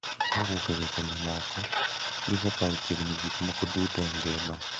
Kowuok e weche mamoko, gisekawo chiegni gik moko duto e ngima.